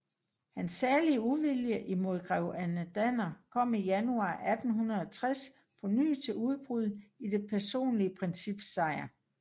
Hans særlige uvilje imod Grevinde Danner kom i januar 1860 på ny til udbrud i Det personlige Princips Sejr